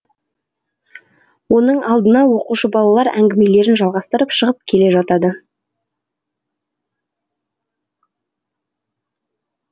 оның алдына оқушы балалар әңгімелерін жалғастырып шығып келе жатады